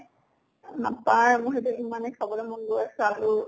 নাপায়। মোৰ সেইটো ইমানে খাবলে মন গৈ আছে আলু।